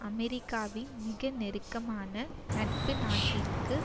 அமெரிக்காவின் மிக நெருக்கமான நட்பு நாட்டிற்கு